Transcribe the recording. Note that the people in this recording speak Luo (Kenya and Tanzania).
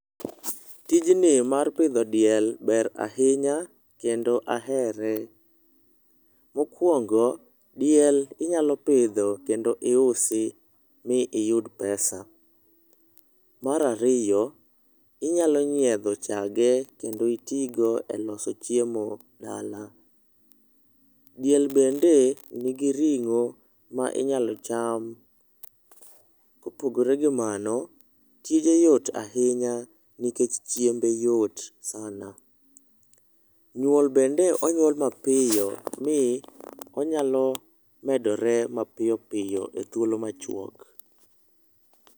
Tijni mar pidho diel ber ahinya kendo ahere. Mokwongo diel inyalo pidho kendo iusi miyud pesa. Mar ariyo inyalo nyiedho chage kendo itigo e loso chiemo dala. Diel bende nigi ringo minyalo cham. Kopogore gi mano tije yot ahinya nikech chiembe yot sana. Nyuol bende onyuol mapiyo mii onyalo medore mapiyo piyo e thuolo machwok.